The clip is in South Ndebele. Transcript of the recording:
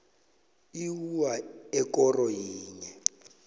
iwua ekoro yinye